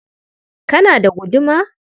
Kana da guduma?